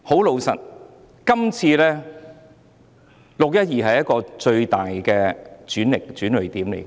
老實說，"六一二"事件是最大的轉捩點。